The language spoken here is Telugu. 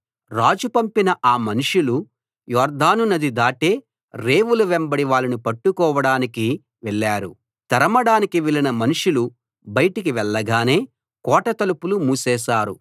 రాజు పంపిన ఆ మనుషులు యొర్దాను నది దాటే రేవుల వెంబడి వాళ్ళను పట్టుకోవడానికి వెళ్లారు తరమడానికి వెళ్ళిన మనుషులు బయటికి వెళ్ళగానే కోట తలుపులు మూసేశారు